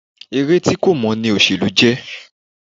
Eré tí kò mọ́ ní òṣèlú jẹ́.